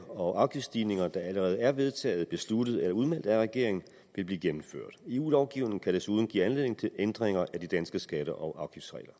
og afgiftsstigninger der allerede er vedtaget besluttet eller udmeldt af regeringen vil blive gennemført eu lovgivningen kan desuden give anledning til ændringer af de danske skatte og